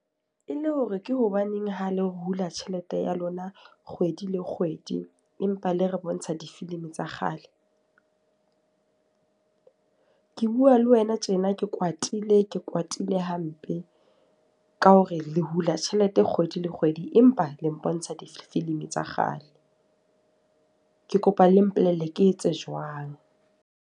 E le hore ke hobaneng ha le ho hula tjhelete ya lona kgwedi le kgwedi empa le re bontsha difilimi tsa kgale? Ke bua le wena tjena ke kwatile, ke kwatile hampe. Ka hore le hule tjhelete kgwedi le kgwedi, empa le mpontsha difilimi tsa kgale. Ke kopa le mpolelle ke etse jwang?